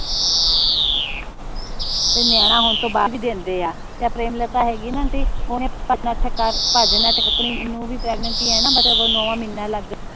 ਤੇ ਨਿਆਣਾ ਹੋਣ ਤੋਂ ਬਾਦ ਵੀ ਦੰਦੇ ਆ ਤੇ ਆ ਪ੍ਰੇਮਲਤਾ ਹੇਗੀ ਨਾ ਆਂਟੀ